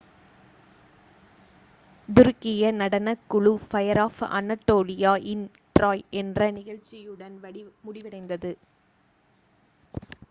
"துருக்கிய நடனக்குழு fire of anatolia இன் "troy" என்ற நிகழ்ச்சியுடன் முடிவடைந்தது.